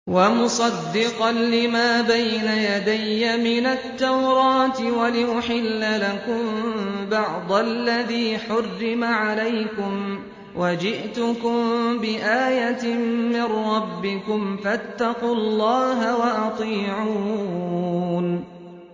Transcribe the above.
وَمُصَدِّقًا لِّمَا بَيْنَ يَدَيَّ مِنَ التَّوْرَاةِ وَلِأُحِلَّ لَكُم بَعْضَ الَّذِي حُرِّمَ عَلَيْكُمْ ۚ وَجِئْتُكُم بِآيَةٍ مِّن رَّبِّكُمْ فَاتَّقُوا اللَّهَ وَأَطِيعُونِ